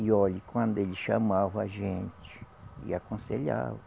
E olhe, quando ele chamava a gente e aconselhava,